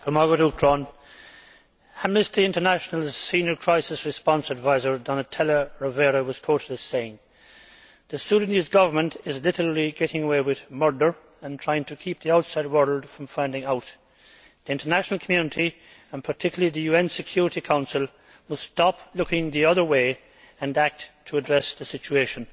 Mr President, Amnesty International's senior crisis response adviser, Donatella Rovera, has been quoted as saying the Sudanese Government is literally getting away with murder and trying to keep the outside world from finding out. The international community, and particularly the UN Security Council, must stop looking the other way and act to address the situation.'